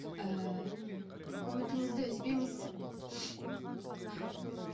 ыыы үмітіңізді үзбеңіз